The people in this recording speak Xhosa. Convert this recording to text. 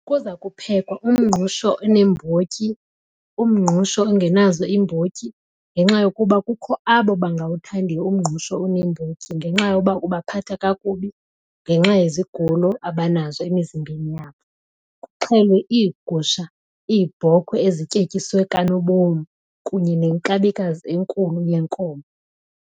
Kuza kuphekwa umngqusho oneembotyi, umngqusho ongenazo iimbotyi ngenxa yokuba kukho abo bangawuthandiyo umngqusho oneembotyi ngenxa yoba ubaphatha kakubi ngenxa yezigulo abanazo emizimbeni yabo. Kuxhelwe iigusha, iibhokhwe ezityetyiswe kanobomi kunye nenkabikazi enkulu yenkomo.